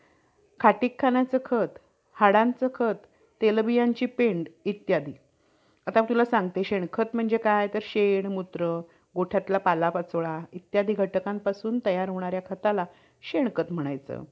खाटीक खाण्याचं खत, हाडांचा खत, तेलबियांची पेंड इत्यादी. आता तुला सांगते शेणखत म्हणजे काय तर शेण, मुत्र, गोठ्यातला पालापाचोळा इत्यादी घटकांपासून तयार होणाऱ्या खताला शेणखत म्हणायचं.